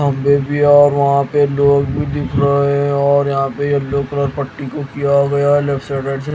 खंभे भी और वहां पे लोग भी दिख रहे है और यहां पे येलो कलर पट्टी को किया गया जैसे तैसे --